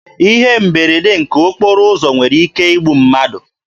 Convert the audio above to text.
Ihe mberede nke okporo ụzọ nwere ike igbu mmadụ.